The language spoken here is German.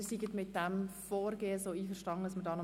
Ich hoffe, Sie sind mit diesem Rückkommen einverstanden.